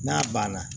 N'a banna